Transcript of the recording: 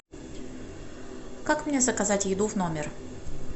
как мне заказать еду в номер